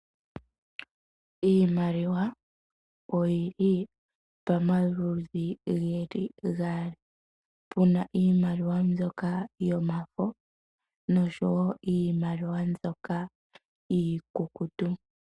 Iimaliwa oyili pomaludhi geli gaali puna Iimaliwa mbyoka yomafo noshowo iimaliwa mbyoka iikukutu.